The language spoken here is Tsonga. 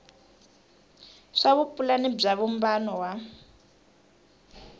swa vupulani bya vumbano wa